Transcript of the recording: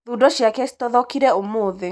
Thundo ciake citothokire ũmũthĩ.